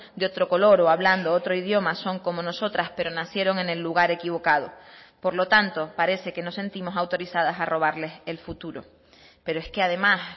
de otro color o hablando otro idioma son como nosotras pero nacieron en el lugar equivocado por lo tanto parece que nos sentimos autorizadas a robarles el futuro pero es que además